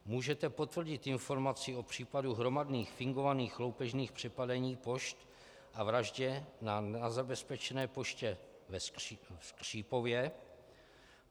Můžete potvrdit informaci o případu hromadných fingovaných loupežných přepadení pošt a vraždě na nezabezpečené poště v Skřípově?